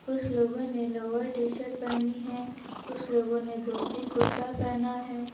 कुछ लोगों ने लोअर टी शर्ट पहनी है कुछ लोगों ने धोती कुर्ता पहना है।